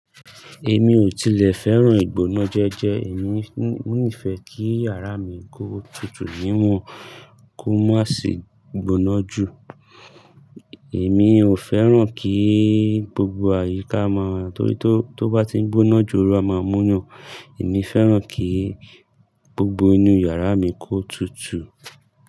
Èmi ò tile feran igbona jeje, èmi nife kí yàrá mi kó tutù níwọ̀n kó má ṣe gbona jù. Èmi ò fẹ́ràn kí gbogbo àyíká máa tó, tó bá ti ń gbóná jù, oru a máa múnyàn. Èmi fẹ́ràn kí gbogbo inú yàrá mi kó tutù.